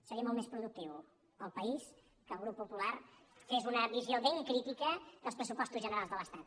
seria molt més productiu per al país que el grup popular fes una visió ben crítica dels pressupostos generals de l’estat